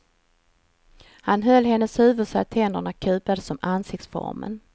Han höll hennes huvud så att händerna kupades om ansiktsformen.